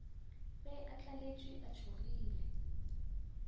be a tlaletšwe a tšhogile